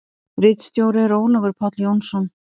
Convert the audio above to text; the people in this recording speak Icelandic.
Ritstjóri er Ólafur Páll Jónsson.